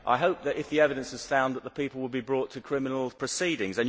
I hope, if the evidence is sound, that the people will be brought to criminal proceedings.